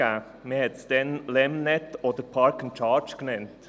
Man nannte es damals «LEMnet» oder «Park & Charge».